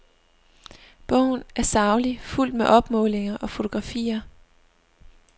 Bogen er saglig, fuldt med opmålinger og fotografier.